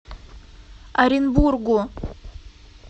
оренбургу